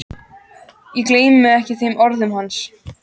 Ég gleymi ekki þeim orðum hans.